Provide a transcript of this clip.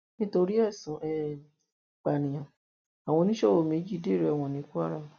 nítorí ẹsùn um ìpànìyàn àwọn oníṣòwò méjì dèrò ẹwọn ní kwara